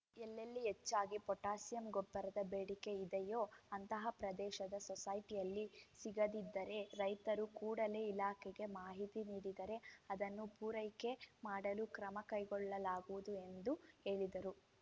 ಎಲ್ಲೆಲ್ಲಿ ಹೆಚ್ಚಾಗಿ ಪೊಟ್ಯಾಷಿಯಂ ಗೊಬ್ಬರದ ಬೇಡಿಕೆ ಇದೆಯೋ ಅಂತಹ ಪ್ರದೇಶದ ಸೊಸೈಟಿಯಲ್ಲಿ ಸಿಗದಿದ್ದರೆ ರೈತರು ಕೂಡಲೇ ಇಲಾಖೆಗೆ ಮಾಹಿತಿ ನೀಡಿದರೆ ಅದನ್ನು ಪೂರೈಕೆ ಮಾಡಲು ಕ್ರಮ ಕೈಗೊಳ್ಳಲಾಗುವುದು ಎಂದು ಹೇಳಿದರು